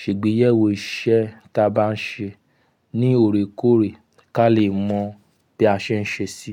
ṣe'gbéyẹ̀wo iṣẹ́ táa bá ń ṣe ní òòrèkòòrè káa lè mọ bí a ṣe n ṣe sí.